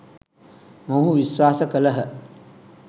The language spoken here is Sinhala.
මොවුහු විශ්වාස කළහ.